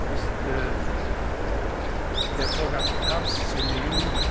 ist der Vorgang ernst zu nehmen.